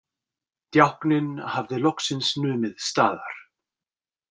Djákninn hafði loksins numið staðar.